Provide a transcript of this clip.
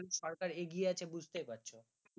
সরকার এগিয়ে আছে বুঝতে পারছ